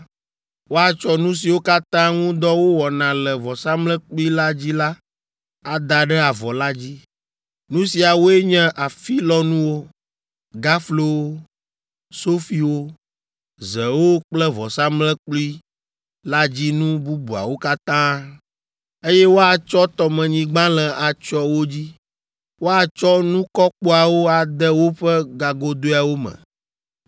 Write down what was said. Woatsɔ nu siwo katã ŋu dɔ wowɔna le vɔsamlekpui la dzi la ada ɖe avɔ la dzi. Nu siawoe nye afilɔnuwo, gaflowo, sofiwo, zewo kple vɔsamlekpui la dzi nu bubuawo katã, eye woatsɔ tɔmenyigbalẽ atsyɔ wo dzi. Woatsɔ nukɔkpoawo ade woƒe gagodoeawo me.